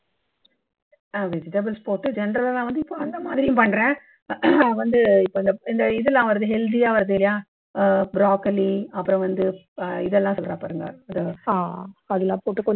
vegetables போட்டு general ஆ நான் வந்து இப்போ அந்த மாதிரியும் பண்றேன் வந்து இப்போ இந்த இது எல்லாம் வருது healthy ஆ வருதுல்லையா ஆஹ் broccoli அப்பறம் வந்து இதெல்லாம் சொல்றா பாருங்க அஹ் அதெல்லாம் போட்டு